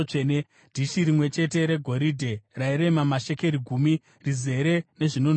dhishi rimwe chete regoridhe rairema mashekeri gumi, rizere nezvinonhuhwira;